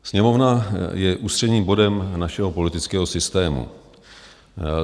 Sněmovna je ústředním bodem našeho politického systému.